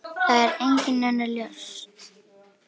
Það er engin önnur lausn.